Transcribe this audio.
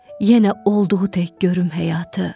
Yenə olduğu tək görüm həyatı.